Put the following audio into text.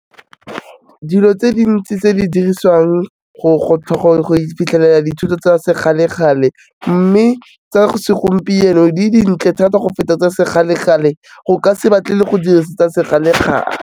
Dilo tse dintsi tse di dirisiwang go iphitlhelela dithuto tsa sekgale-kgale mme tsa segompieno di dintle thata go feta tsa sekgale-kgale, o ka se batle go dirisa tsa sekgala-kgale.